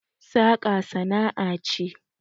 saka sana'a ce